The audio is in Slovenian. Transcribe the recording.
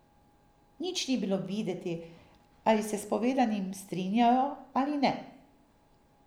Nič ni bilo videti, ali se s povedanim strinjajo ali ne.